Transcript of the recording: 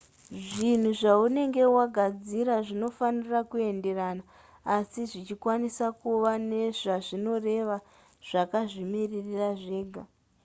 zvinhu zvaunenge wagadzira zvinofanira kuenderana asi zvichikwanisa kuva nezvazvinoreva zvakazvimirira zvega